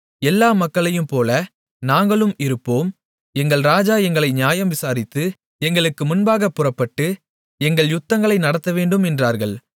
எல்லா மக்களையும்போல நாங்களும் இருப்போம் எங்கள் ராஜா எங்களை நியாயம் விசாரித்து எங்களுக்கு முன்பாகப் புறப்பட்டு எங்கள் யுத்தங்களை நடத்தவேண்டும் என்றார்கள்